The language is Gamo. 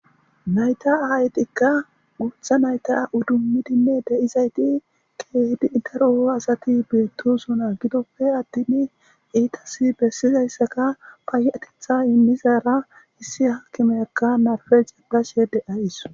nayta ahaytikka guutha nayta uddumi dinne de izayti kehdi daro oo asati beettosonaa gidope attin eetas bessizayssaka paayatetha immizara issi hakkimeakka narpe cadashe de7awus.